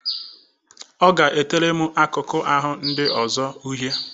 Ọ ga-etere m akụkụ ahụ ya ndị ọzọ uhie.